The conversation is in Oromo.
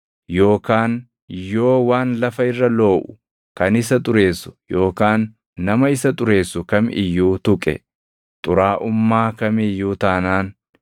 yookaan yoo waan lafa irra looʼu kan isa xureessu yookaan nama isa xureessu kam iyyuu tuqe, xuraaʼummaa kam iyyuu taanaan,